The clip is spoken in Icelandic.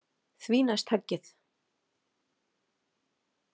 Því næst höggið.